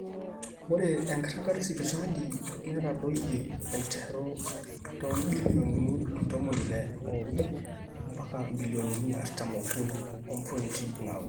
ore enkiragata esipitali netadoyie aiterru toombillionini ntomoni ile oobo mbaka imbilioonini artam ookuni ompointi naaudo